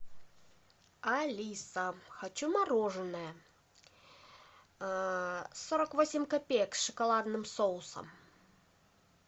алиса хочу мороженое сорок восемь копеек с шоколадным соусом